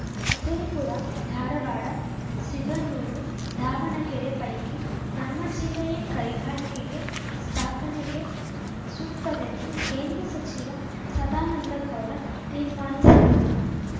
ವಿಜಯಪುರ ಧಾರವಾಡ ಸಿಧನೂರು ದಾವಣಗೆರೆ ಪೈಕಿ ನಮ್ಮ ಜಿಲ್ಲೆಯೇ ಕೈಗಾರಿಕೆಗೆ ಸ್ಥಾಪನೆಗೆ ಸೂಕ್ತವೆಂದು ಕೇಂದ್ರ ಸಚಿವ ಸದಾನಂದಗೌಡ ತೀರ್ಮಾನಿಸಿದ್ದು